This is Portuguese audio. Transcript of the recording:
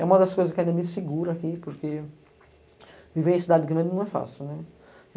É uma das coisas que ainda me segura aqui, porque viver em cidade grande não é fácil, né.